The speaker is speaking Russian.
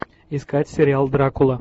искать сериал дракула